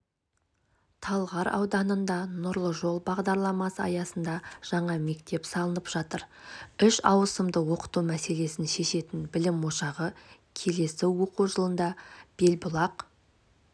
талғар ауданында нұрлы жол бағдарламасы аясында жаңа мектеп салынып жатыр үш ауысымда оқыту мәселесін шешетін білім ошағы келесі оқу жылында белбұлақ